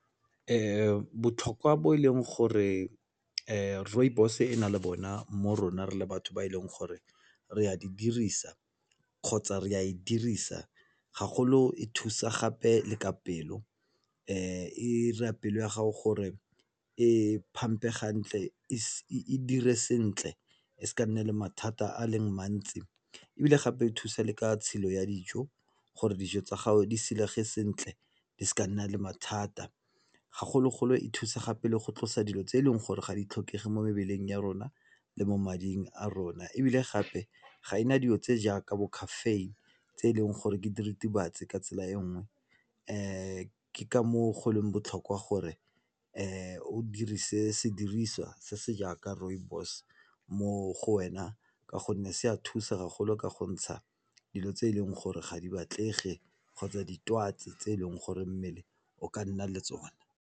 Botlhokwa bo e leng gore rooibos-e e na le bona mo rona re le batho ba e leng gore re a di dirisa kgotsa re a e dirisa gagolo e thusa gape le ka pelo e 'ira pelo ya gago gore e pump-e gantle e dire sentle e ska nna le mathata a leng mantsi. Ebile gape e thusa le ka tshilo ya dijo gore dijo tsa gago di silege sentle, di se ka nna le mathata gagolo-golo e thusa gape le go tlosa dilo tse e leng gore ga di tlhokege mo mebeleng ya rona le mo mading a rona. Ebile gape ga e na dilo tse jaaka bo caffeine tse e leng gore ke diritibatsi ka tsela e nngwe ke ka moo go leng botlhokwa gore o dirise sediriswa se se jaaka rooibos mo go wena ka gonne se a thusa gagolo ka go ntsha dilo tse e leng gore ga di batlege kgotsa ditwatsi tse e leng gore mmele o ka nna le tsona.